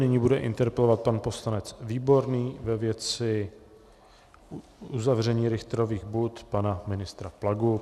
Nyní bude interpelovat pan poslanec Výborný ve věci uzavření Richtrových bud pana ministra Plagu.